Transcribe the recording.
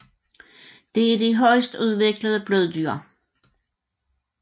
Det er de højst udviklede bløddyr